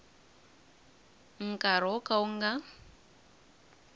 nkarhi wo ka wu nga